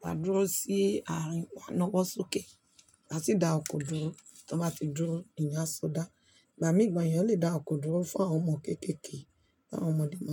máa dúró sí àárín oná waa na wo sókè, waa si dá ọkọ̀ dúró tí wọ́n bá ti dúró, eeyàn a sọ dá. Ìgbà mìí gàn eeyan lè dá ọkọ̀ dúró fún àwọn ọmọ kékèké àwọn ọmọdé mọ́.